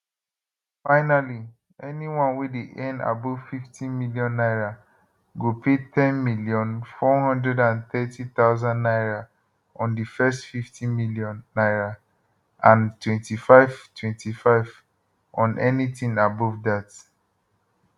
finally anyone wey dey earn above 50 million naira go pay 10430000 naira on di first 50 million naira and 25 25 on anytin above dat